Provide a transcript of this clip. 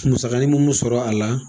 Musakanin min bɛ sɔrɔ a la